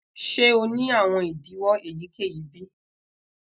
ṣe o ni awọn idiwọ eyikeyi bi